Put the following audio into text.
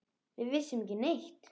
Við vissum ekki neitt.